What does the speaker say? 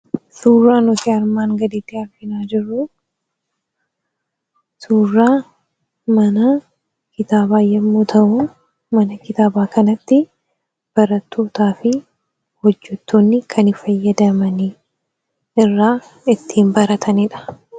Suuraa nuti armaan gadiitti argaa jirru suuraa mana kitaabaa yommuu ta'u mana kitaabaa kanatti barattootaa fi hojjettoonni kan fayyadamani, irraa kan baratanidha.